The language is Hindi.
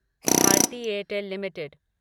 Bharti Airtel limited